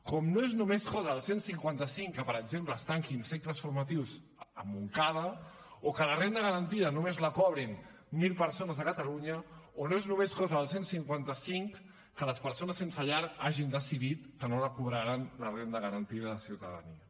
com no és només cosa del cent i cinquanta cinc que per exemple es tanquin cicles formatius a montcada o que la renda garantida només la cobrin mil persones a catalunya o no és només cosa del cent i cinquanta cinc que les persones sense llar hagin decidit que no la cobraran la renda garantida de ciutadania